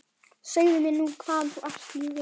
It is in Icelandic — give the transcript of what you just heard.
Segðu mér nú hvaðan þú ert, ljúfurinn?